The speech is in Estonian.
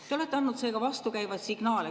Te olete andnud vastukäivaid signaale.